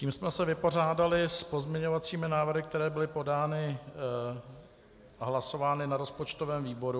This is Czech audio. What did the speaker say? Tím jsme se vypořádali s pozměňovacími návrhy, které byly podány a hlasovány na rozpočtovém výboru.